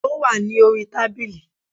Ó wà ní orí tábìlì